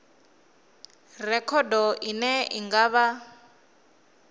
rekhodo ine i nga vha